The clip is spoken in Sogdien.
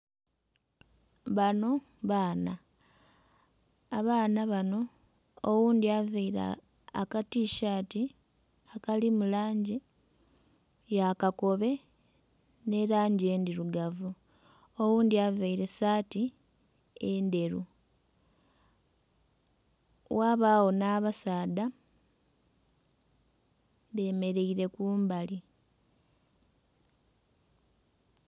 Bano baana. Abaana bano oghundhi availe akatishaati akalimu langi ya kakobe, nh'elangi endhirugavu. Oghundhi availe saati endheru. Ghabagho nh'abasaadha bemeleire kumbali.